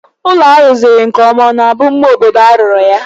Ụlọ a rụziri nkeọma ọ na-bụ mma obodo a rụrụ ya?